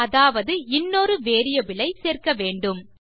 அதாவது இன்னொரு வேரியபிலை சேர்க்க வேண்டும்